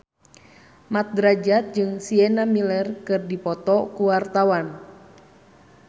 Mat Drajat jeung Sienna Miller keur dipoto ku wartawan